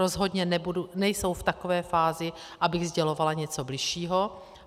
Rozhodně nejsou v takové fázi, abych sdělovala něco bližšího.